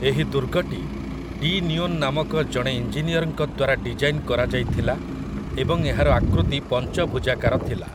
ଏହି ଦୁର୍ଗଟି De Neon ନାମକ ଜଣେ ଇଞ୍ଜିନିୟର୍‌ଙ୍କ ଦ୍ୱାରା ଡିଜାଇନ୍‌‌ କରାଯାଇଥିଲା ଏବଂ ଏହାର ଆକୃତି ପଞ୍ଚଭୁଜାକାର ଥିଲା ।